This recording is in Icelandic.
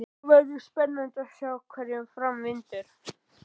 Það verður spennandi að sjá hverju fram vindur.